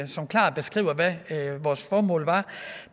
som klart beskriver hvad vores formål var